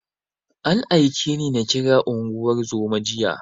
An aike ni na kira unguwar zoman jiya.